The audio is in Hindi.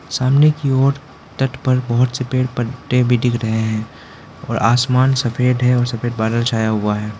सामने की ओर तट पर बहुत से पेड़ पत्ते भी दिख रहे हैं और आसमान सफेद है और सफेद बादल छाया हुआ है।